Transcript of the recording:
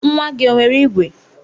Nwa gị o nwere igwe?